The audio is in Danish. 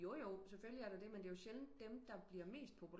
Jojo selvfølgelig er der det men det er jo sjældent dem der bliver mest populære